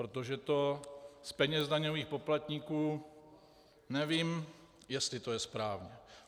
Protože to z peněz daňových poplatníků - nevím, jestli to je správné.